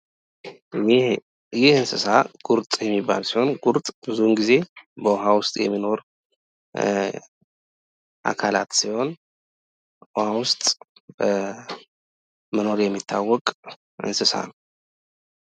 ይህ እንስሳ ጉርጥ እሚባል ሲሆን ጉርጥ ብዙውን ጊዜ ዉሀ ውስጥ የሚኖር አካላት ሲሆን ውሀ ውስጥ በመኖር የሚታወቅ እንስሳ ነው።